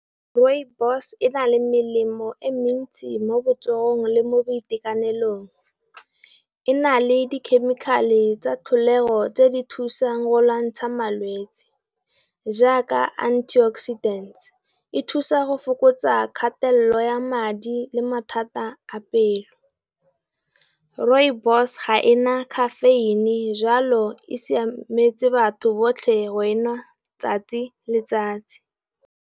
Rooibos e na le melemo e mentsi mo botsogong le mo boitekanelong. E na le dikhemikhale tsa tlholego tse di thusang go lwantsha malwetsiJ jaaka antioxidant, e thusa go fokotsa kgatelelo ya madi le mathata a pelo, Rsooibos ga ena khafeine jalo e siametse batho botlhe wena tsatsi le letsatsi.